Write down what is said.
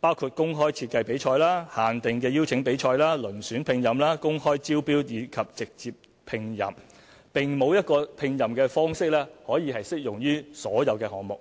包括公開設計比賽、限定的邀請比賽、遴選聘任、公開招標及直接聘任，並沒有一個聘任方式可適用於所有項目。